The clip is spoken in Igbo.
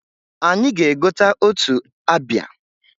Anyị ga-egota otu abịa.